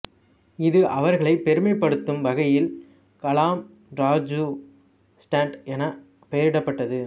இது அவர்களை பெருமைப்படுத்தும் வகையில் கலாம் ராஜூ ஸ்டென்ட் என பெயரிடப்பட்டது